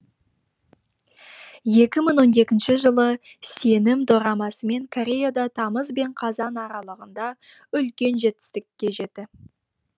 екі мың он екінші жылы сенім дорамасымен кореяда тамыз бен қазан аралығында үлкен жетістікке жеті